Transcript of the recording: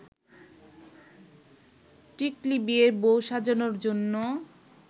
টিকলী বিয়ের বউ সাজানোর জন্য